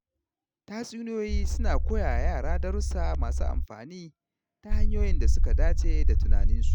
Tatsuniyoyi suna koya wa yara darussa masu amfani ta hanyoyin da suka dace da tunaninsu.